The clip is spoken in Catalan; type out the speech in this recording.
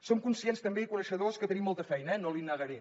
som conscients també i coneixedors que tenim molta feina eh no l’hi negaré